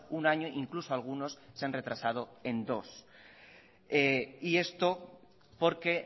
un año incluso algunos se han retrasado en dos y esto porque